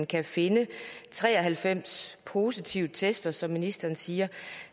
kan finde tre og halvfems positive attester som ministeren siger